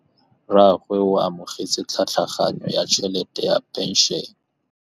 Rragwe o amogetse tlhatlhaganyô ya tšhelête ya phenšene.